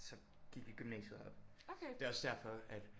Så gik vi i gymnasiet og det også derfor at